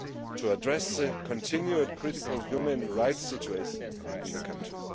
to address the continuing critical human rights situation in the country.